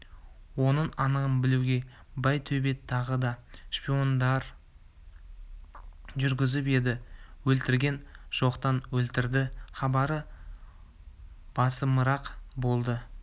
оның анығын білуге байтөбет тағы да шпиондарын жүргізіп еді өлтірген жоқтан өлтірді хабары басымырақ болды